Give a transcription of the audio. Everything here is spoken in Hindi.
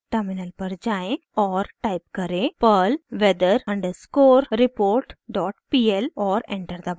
टर्मिनल पर जाएँ और टाइप करें perl weather underscore report dot pl और एंटर दबाएं